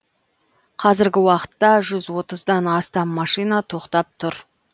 қазіргі уақытта жүз отыздан астам машина тоқтап тұр